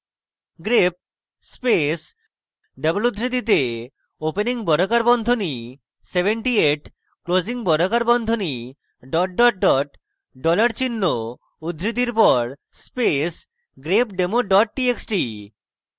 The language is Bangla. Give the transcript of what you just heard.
grep space double উদ্ধৃতিতে opening বর্গাকার বন্ধনী 78 closing বর্গাকার বন্ধনী double double double dollar চিহ্ন উদ্ধৃতির পর space grepdemo double txt